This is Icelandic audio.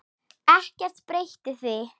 Ekkert breytir því.